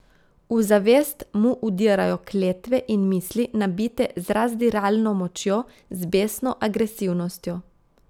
V zavest mu vdirajo kletve in misli, nabite z razdiralno močjo, z besno agresivnostjo.